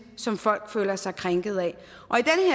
som folk føler sig krænket af